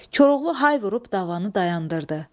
Koroğlu hay vurub davanı dayandırdı.